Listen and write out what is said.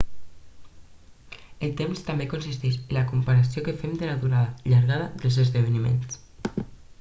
el temps també consisteix en la comparació que fem de la durada llargada dels esdeveniments